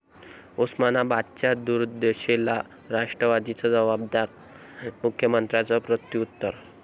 उस्मानाबादच्या दुर्दशेला राष्ट्रवादीच जबाबदार, मुख्यमंत्र्यांचं प्रत्युत्तर